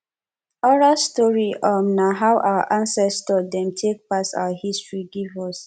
oral storytelling um na how our ancestor dem take pass our history give us